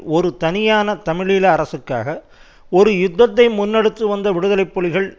ஒரு தனியான தமிழீழ அரசுக்காக ஒரு யுத்தத்தை முன்னெடுத்து வந்த விடுதலை புலிகள்